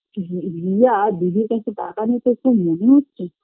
রি রিয়া দিদির কাছ থেকে টাকা নিতে এসছে তা মনে হচ্ছে